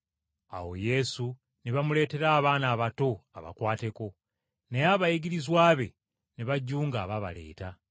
Awo Yesu ne bamuleetera abaana abato abakwateko, naye abayigirizwa be ne bajunga abaabaleeta.